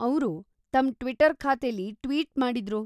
ಅವ್ರು ತಮ್ ಟ್ವಿಟರ್‌ ಖಾತೆಲಿ ಟ್ವೀಟ್‌ ಮಾಡಿದ್ರು.